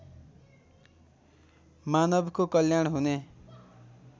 मानवको कल्याण हुने